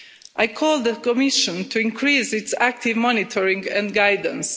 I call on the Commission to increase its active monitoring and guidance.